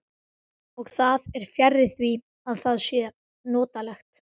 Og það er fjarri því að það sé notalegt.